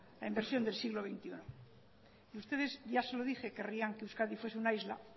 en versión del siglo veintiuno y ustedes ya se lo dije querrían que euskadi fuese una isla